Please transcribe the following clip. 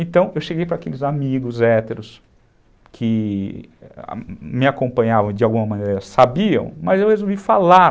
Então, eu cheguei para aqueles amigos héteros que me acompanhavam de alguma maneira, sabiam, mas eu resolvi falar.